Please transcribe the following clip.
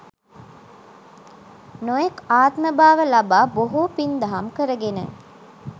නොයෙක් ආත්මභාව ලබා බොහෝ පින්දහම් කරගෙන